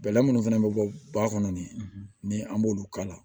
Bɛlɛ minnu fɛnɛ bɛ bɔ ba kɔnɔ nin an b'olu k'a la